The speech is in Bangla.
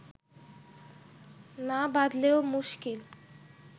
না বাঁধলেও মুশকিল